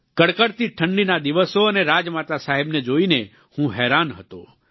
કડકડતી ઠંડીના દિવસો અને રાજમાતા સાહેબને જોઈને હું હેરાન હતો